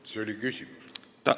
Kas see oli küsimus?